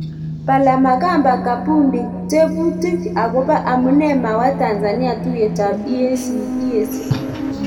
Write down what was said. Palamagamba Kabudi:tebutik agobo amune mawa tanzania tuyet ap EAC